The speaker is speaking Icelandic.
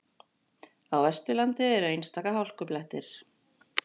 Á Vesturlandi eru einstaka hálkublettir